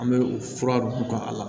An bɛ u fura dun ka a la